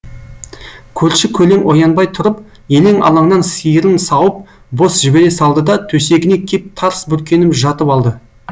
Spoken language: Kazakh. көрші көлең оянбай тұрып елең алаңнан сиырын сауып бос жібере салды да төсегіне кеп тарс бүркеніп жатып алды